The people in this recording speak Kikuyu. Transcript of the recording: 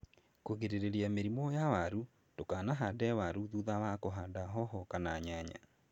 Kũgirĩrĩria mĩrimu ya waru, ndũkahande waru thutha wa kũhanda hoho kana nyanya.